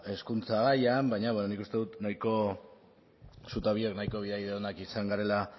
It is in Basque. hezkuntza gaian baina bueno nik uste dut zu ta biok nahiko onak izan garela